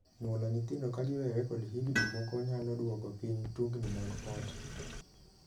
Nyuolo nyithindo ka giwere kod higni moko nyalo duoko piny tungni mag ot.